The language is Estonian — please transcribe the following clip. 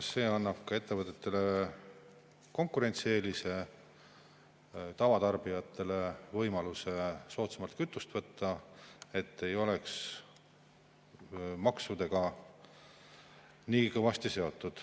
See annab ettevõtetele konkurentsieelise ja tavatarbijatele võimaluse soodsamalt kütust võtta, see ei oleks maksudega nii kõvasti seotud.